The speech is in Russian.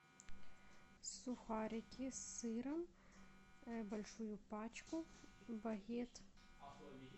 сухарики с сыром большую пачку багет